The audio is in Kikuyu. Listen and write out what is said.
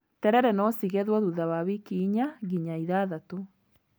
Terere no cigethwo thutha wa wiki inya nginya ithathatũ.